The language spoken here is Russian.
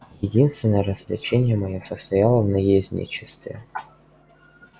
единственное развлечение моё состояло в наездничестве